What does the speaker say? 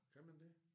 Kan man det?